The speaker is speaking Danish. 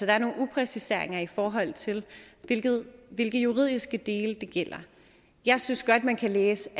er nogle upræcisheder i forhold til hvilke juridiske dele det gælder jeg synes godt man kan læse